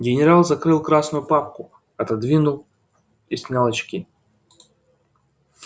генерал закрыл красную папку отодвинул и снял очки